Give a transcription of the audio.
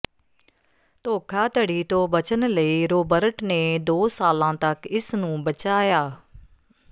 ਧੋਖਾਧੜੀ ਤੋਂ ਬਚਣ ਲਈ ਰੌਬਰਟ ਨੇ ਦੋ ਸਾਲਾਂ ਤੱਕ ਇਸ ਨੂੰ ਬਚਾਇਆ